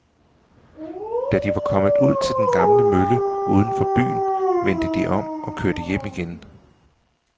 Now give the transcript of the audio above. Da de var kommet ud til den gamle mølle uden for byen, vendte de om og kørte hjem igen.